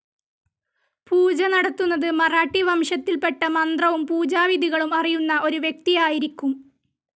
പൂജ നടത്തുന്നത് മറാഠി വംശത്തിൽപ്പെട്ട മന്ത്രവും പൂജാവിധികളും അറിയുന്ന ഒരു വ്യക്തിയായിരിക്കും.